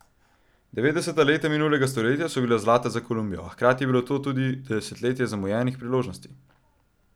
Devetdeseta leta minulega stoletja so bila zlata za Kolumbijo, a hkrati je bilo to tudi desetletje zamujenih priložnosti.